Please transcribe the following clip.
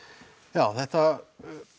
já þetta